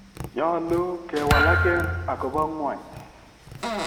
Nyolu kewalaken akobo ngwony.